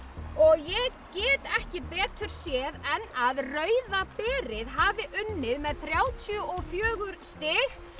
ég get ekki betur séð en að Rauða berið hafi unnið með þrjátíu og fjögur stig